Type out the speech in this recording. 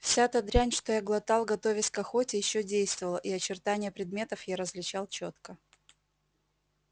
вся та дрянь что я глотал готовясь к охоте ещё действовала и очертания предметов я различал чётко